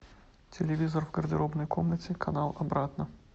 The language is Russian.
телевизор в гардеробной комнате канал обратно